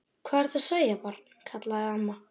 Hvað ertu að segja, barn? kallaði amma.